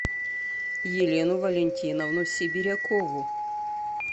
елену валентиновну сибирякову